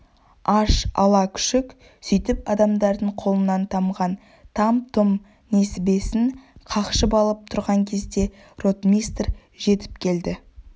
аш ала күшік сөйтіп адамдардың қолынан тамған там-тұм несібесін қақшып алып тұрған кезде ротмистр жетіп келді